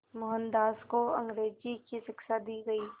मोहनदास को अंग्रेज़ी की शिक्षा दी गई